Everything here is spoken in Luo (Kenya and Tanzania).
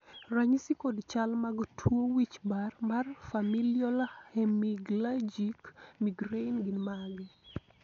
ranyisi kod chal mag tuo wich bar mar Familial hemiplegic migraine gin mage?